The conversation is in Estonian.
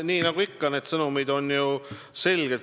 Nii nagu ikka, need sõnumid on ju selged.